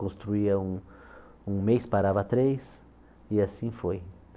Construía um um mês, parava três, e assim foi.